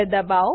દબાઓ